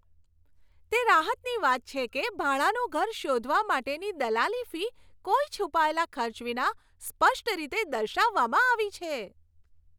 તે રાહતની વાત છે કે ભાડાનું ઘર શોધવા માટેની દલાલી ફી કોઈ છુપાયેલા ખર્ચ વિના સ્પષ્ટ રીતે દર્શાવવામાં આવી છે.